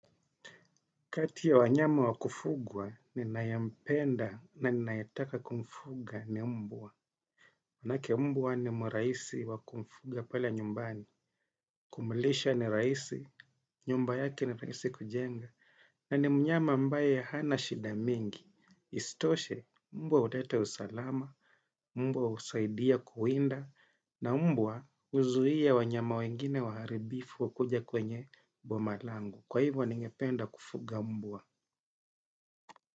Kati ya wanyama wa kufugwa, ninayempenda na ninayetaka kumfuga ni mbwa. Maanake mbwa ni mrahisi wa kumfuga pale nyumbani. Kumlisha ni rahisi, nyumba yake ni rahisi kujenga. Na ni mnyama ambaye hana shida mingi. Istoshe, mbwa huleta usalama, mbwa husaidia kuwinda, na mbwa huzuia wanyama wengine waharibifu wakuje kwenye boma langu. Kwa hivyo, ningependa kufuga mbwa.